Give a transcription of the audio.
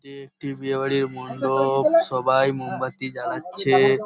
এটি একটি বিয়েবাড়ির মণ্ডপ সবাই মোমবাতি জ্বালাচ্ছে--